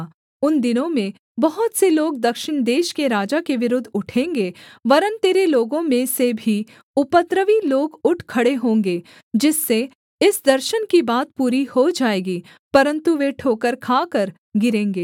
उन दिनों में बहुत से लोग दक्षिण देश के राजा के विरुद्ध उठेंगे वरन् तेरे लोगों में से भी उपद्रवी लोग उठ खड़े होंगे जिससे इस दर्शन की बात पूरी हो जाएगी परन्तु वे ठोकर खाकर गिरेंगे